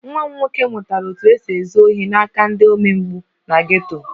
Nwa m nwoke mụtara otú e si ezu ohi n'aka ndị omempụ na geto